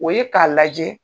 O ye k'a lajɛ.